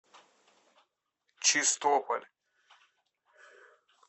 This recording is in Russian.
чистополь